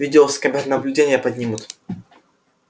видео с камер наблюдения поднимут